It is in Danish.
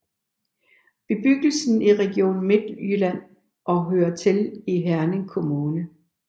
Bebyggelsen ligger i Region Midtjylland og hører til Herning Kommune